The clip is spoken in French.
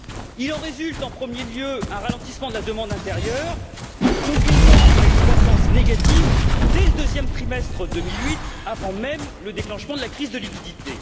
Il en résulte en premier lieu un ralentissement de la demande intérieure conduisant à une croissance négative dès le deuxième trimestre 2008, avant même le déclenchement de la crise de liquidités.